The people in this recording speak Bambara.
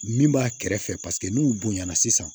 Min b'a kɛrɛfɛ paseke n'u bonyana sisan